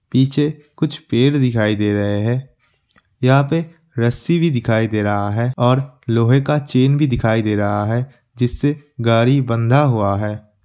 पीछे कुछ पेड़ दिखाई दे रहे हैं यहाँ पे रस्सी भी दिखाई दे रहा है और लोहे का चैन भी दिखाई दे रहा है जिससे गाड़ी बंधा हुआ है ।